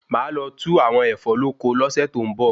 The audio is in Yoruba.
Máà lo tu àwọn Ẹ̀fọ́ lóko lo se to n bo